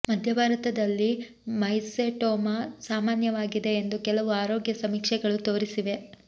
ಮಧ್ಯ ಭಾರತದಲ್ಲಿ ಮೈಸೆಟೋಮಾ ಸಾಮಾನ್ಯವಾಗಿದೆ ಎಂದು ಕೆಲವು ಆರೋಗ್ಯ ಸಮೀಕ್ಷೆಗಳು ತೋರಿಸಿವೆ